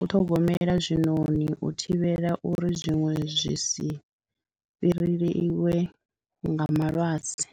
u ṱhogomela zwinoni u thivhela uri zwiṅwe zwi si fhireliwe nga malwadze.